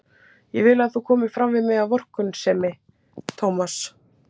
Ég vil ekki að þú komir fram við mig af vorkunnsemi, Tómas.